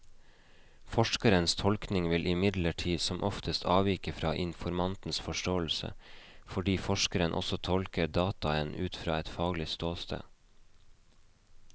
Forskerens tolkning vil imidlertid som oftest avvike fra informantens forståelse, fordi forskeren også tolker dataene ut fra et faglig ståsted.